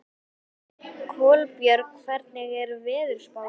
Kolbjörg, hvernig er veðurspáin?